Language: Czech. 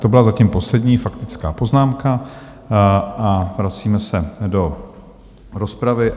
To byla zatím poslední faktická poznámka a vracíme se do rozpravy.